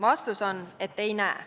Vastus on, et ei näe.